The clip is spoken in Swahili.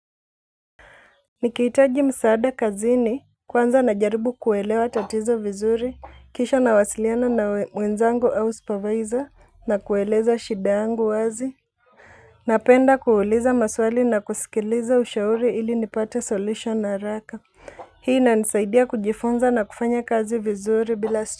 Nikihitaji msaada kazini, kwanza najaribu kuelewa tatizo vizuri, kisha nawasiliana na mwenzangu, au supervisor, na kueleza shida yangu wazi napenda kuuliza maswali na kusikiliza ushauri, ili nipate solution na haraka hii inanisaidia kujifunza na kufanya kazi vizuri bila.